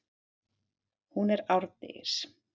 Hún er árdegis.